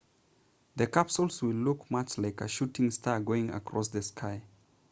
the capsule will look much like a shooting star going across the sky